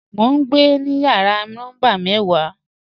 Mọ̀ n gbẹ ni yàrà nọ́mbà mẹ́wà